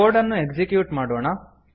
code ಅನ್ನು execute ಮಾಡೋಣ